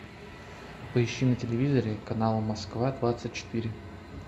поищи на телевизоре канал москва двадцать четыре